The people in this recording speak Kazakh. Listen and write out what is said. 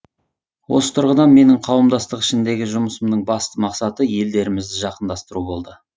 осы тұрғыдан менің қауымдастық ішіндегі жұмысымның басты мақсаты елдерімізді жақындастыру болды